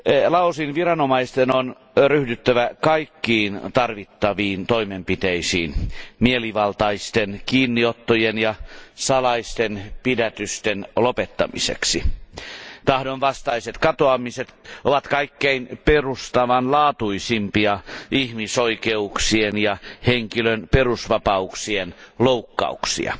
Laosin viranomaisten on ryhdyttävä kaikkiin tarvittaviin toimenpiteisiin mielivaltaisten kiinniottojen ja salaisten pidätysten lopettamiseksi. Tahdonvastaiset katoamiset ovat kaikkein perustavanlaatuisimpia ihmisoikeuksien ja henkilön perusvapauksien loukkauksia.